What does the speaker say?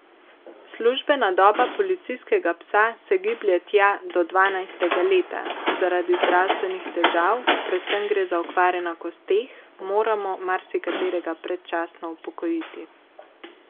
Službena doba policijskega psa se giblje tja do dvanajstega leta, zaradi zdravstvenih težav, predvsem gre za okvare na kosteh, moramo marsikaterega predčasno upokojiti.